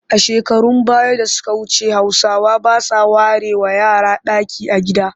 A shekarun baya da suka wuce Hausawa ba sa warewa yara ɗaki a gida